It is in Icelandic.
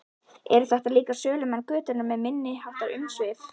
Eru þetta líka sölumenn götunnar með minniháttar umsvif?